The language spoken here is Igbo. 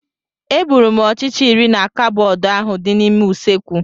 Egburu m ọchịcha iri na cabọọdị ahụ dị n'ime usekwu.